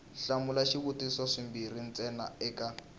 hlamula swivutiso swimbirhi ntsena eka